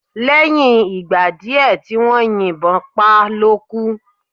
Lẹ́yìn ìgbà díè tí wón yín bon pá lókú